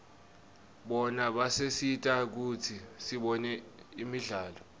bona basisita kutsi sibone imidlalo